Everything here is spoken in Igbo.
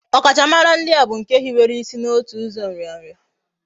Okachamara na ihe ndi a bu nke hibere isi na otu uzo nria nria